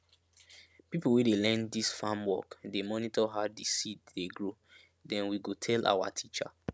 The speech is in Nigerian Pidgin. pipo wey dey learn dis farm work dey monitor how di seed dey grow den we go tell awa teacher